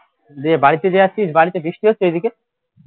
দিয়ে বাড়িতে যে আছিস বাড়িতে বৃষ্টি হচ্ছে এদিকে